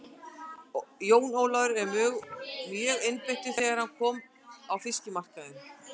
Jón Ólafur var mjögeinbeittur þegar hann kom á fiskmarkaðinn.